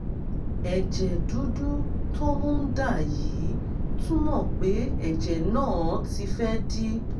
ẹ̀jẹ̀ dúdú tó ń dà yìí túmọ̀ pé ẹ̀jẹ̀ náà ti fẹ́ dì